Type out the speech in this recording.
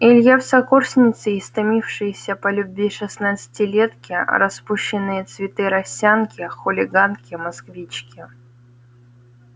илье в сокурсницы истомившиеся по любви шестнадцатилетки распущенные цветы росянки хулиганки-москвички